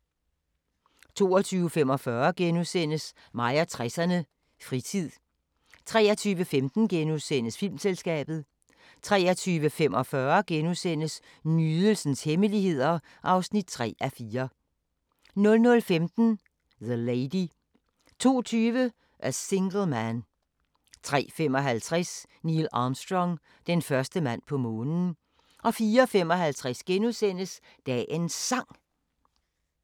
22:45: Mig og 60'erne: Fritid * 23:15: Filmselskabet * 23:45: Nydelsens hemmeligheder (3:4)* 00:15: The Lady 02:20: A Single Man 03:55: Neil Armstrong – den første mand på Månen 04:55: Dagens Sang *